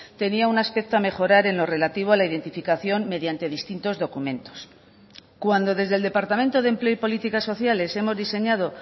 tenía un aspecto a mejorar en lo relativo a la identificación mediante distintos documentos cuando desde el departamento de empleo y políticas sociales hemos diseñado